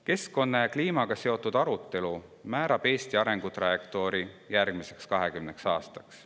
Keskkonna ja kliimaga seotud arutelu määrab Eesti arengutrajektoori järgmiseks 20 aastaks.